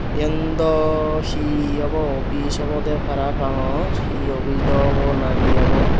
eyen do hi ebo oppis obodey parapangor hi oppis do obo na hi obo.